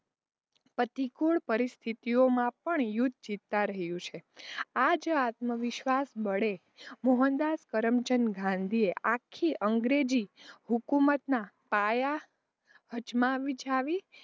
પ્રતિકૂડ પરિસ્થિતીઑમાં પણ યુદ્ધ જીતતાં રહ્યાં છે. આજ, આત્મવિશ્વાસ બડે મોહનદાસ કરમચંદ ગાંધીએ આખી અંગ્રેજી હૂકુમતનાં પાયા હજમાંવિજાવી,